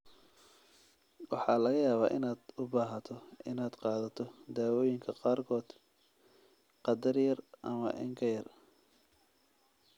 Waxaa laga yaabaa inaad u baahato inaad qaadato daawooyinka qaarkood qadar yar ama in ka yar.